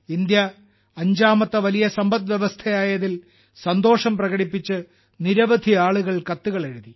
India അഞ്ചാമത്തെ വലിയ സമ്പദ്വ്യവസ്ഥയായതിൽ സന്തോഷം പ്രകടിപ്പിച്ച് നിരവധി ആളുകൾ കത്തുകൾ എഴുതി